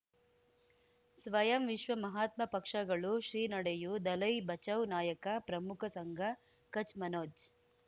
ಸ್ವಯಂ ವಿಶ್ವ ಮಹಾತ್ಮ ಪಕ್ಷಗಳು ಶ್ರೀ ನಡೆಯೂ ದಲೈ ಬಚೌ ನಾಯಕ ಪ್ರಮುಖ ಸಂಘ ಕಚ್ ಮನೋಜ್